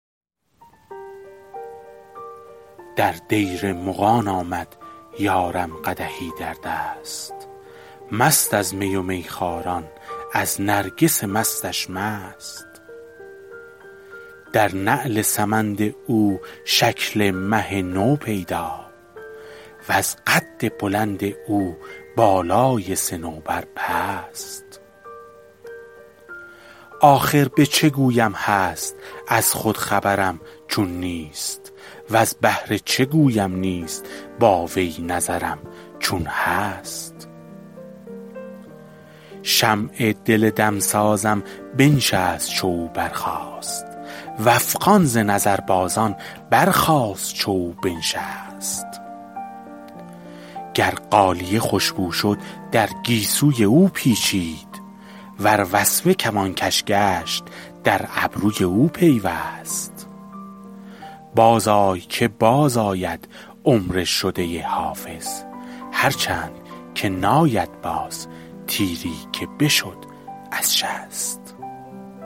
در دیر مغان آمد یارم قدحی در دست مست از می و میخواران از نرگس مستش مست در نعل سمند او شکل مه نو پیدا وز قد بلند او بالای صنوبر پست آخر به چه گویم هست از خود خبرم چون نیست وز بهر چه گویم نیست با وی نظرم چون هست شمع دل دمسازم بنشست چو او برخاست و افغان ز نظربازان برخاست چو او بنشست گر غالیه خوش بو شد در گیسوی او پیچید ور وسمه کمانکش گشت در ابروی او پیوست بازآی که بازآید عمر شده حافظ هرچند که ناید باز تیری که بشد از شست